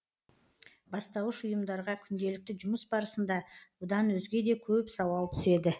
бастауыш ұйымдарға күнделікті жұмыс барысында бұдан өзге де көп сауал түседі